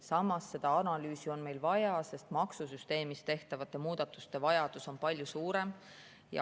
Samas, seda analüüsi on meil vaja, sest maksusüsteemis tehtavate muudatuste vajadus on palju suurem.